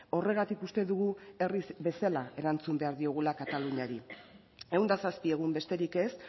horregatik uste dugu herriz bezala erantzun behar diogula kataluniari ehun eta zazpi egun besterik ez